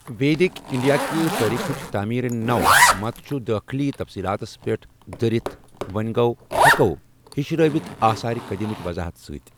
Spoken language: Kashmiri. ویدک انڈیا کہِ تاریخٕچ تعمیرِ نَو مَت چھُ دٲخلی تفصیلاتس پٮ۪ٹھ دٔرِتھ وۅں گوٚو ہیٚکو ہِشرٲوِتھ آثارَ قدیمہٕچ وضاحت ستۍ۔